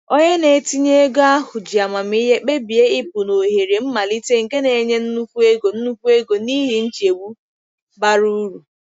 Onye na-etinye ego ahụ ji amamihe kpebie ịpụ na ohere mmalite nke na-enye nnukwu ego nnukwu ego n'ihi nchegbu bara uru.